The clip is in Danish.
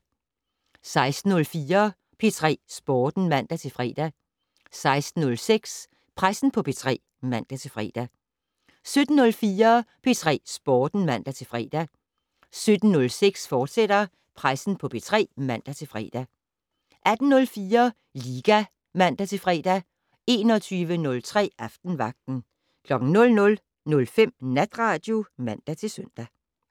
16:04: P3 Sporten (man-fre) 16:06: Pressen på P3 (man-fre) 17:04: P3 Sporten (man-fre) 17:06: Pressen på P3, fortsat (man-fre) 18:04: Liga (man-fre) 21:03: Aftenvagten 00:05: Natradio (man-søn)